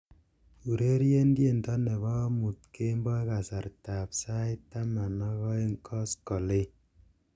ureren tiendo nepo omuut kemboi kasartab sait taman ak oeng' koskolen